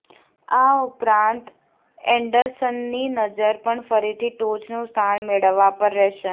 આ ઉપરાંત એન્ડરસનની નજર પણ ફરીથી ટોચનું સ્થાન મેળવવા પર રહેશે